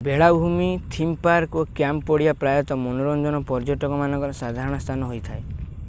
ବେଳାଭୂମି theme park ଓ camp ପଡ଼ିଆ ପ୍ରାୟତଃ ମନୋରଞ୍ଜନ ପର୍ଯ୍ୟଟକମାନଙ୍କର ସାଧାରଣ ସ୍ଥାନ ହୋଇଥାଏ